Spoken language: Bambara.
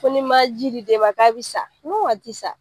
Ko n'i ma ji di den ma k'a bɛ sa ne ma a tɛ sa